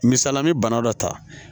Misala n bɛ bana dɔ ta